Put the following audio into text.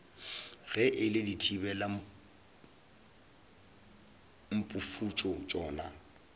ge e le dithibelamphufutšo tšona